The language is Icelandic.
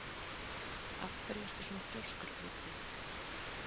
Af hverju ertu svona þrjóskur, Auddi?